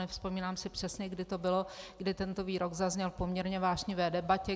Nevzpomínám si přesně, kdy to bylo, kdy tento výrok zazněl v poměrně vášnivé debatě.